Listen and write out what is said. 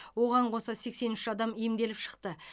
оған қоса сексен үш адам емделіп шықты